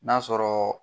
N'a sɔrɔ